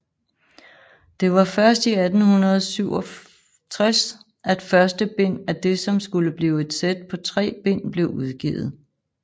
Det var først i 1867 at første bind af det som skulle blive et sæt på tre bind blev udgivet